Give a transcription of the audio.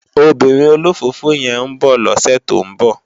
Òbìrín ólófófó yèn n bò lòsè tó n bò